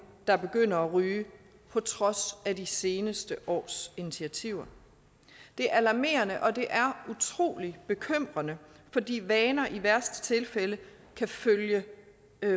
der begynder at ryge på trods af de seneste års initiativer det er alarmerende og det er utrolig bekymrende fordi vaner i værste tilfælde kan følge